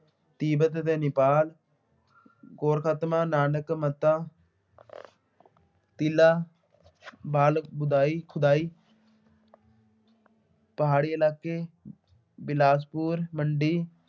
ਤਿੱਬਤ ਅਤੇ ਨੇਪਾਲ ਗੋਰਖਤਮਾ ਨਾਨਕ ਮਤਾ ਪਿਲਾ, ਬਾਲ ਖੁਦਾਈ ਖੁਦਾਈ ਪਹਾੜੀ ਇਲਾਕੇ ਬਿਲਾਸਪੁਰ ਮੰਡੀ